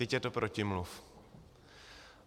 Vždyť je to protimluv.